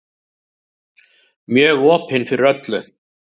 Mjög opin fyrir öllu.